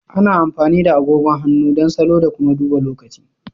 Ana amfani da agogon hannu don salo da kuma duba lokaci.